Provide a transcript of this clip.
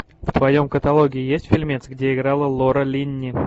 в твоем каталоге есть фильмец где играла лора линни